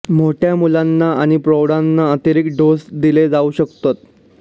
मोठ्या मुलांना आणि प्रौढांना अतिरिक्त डोस दिले जाऊ शकतात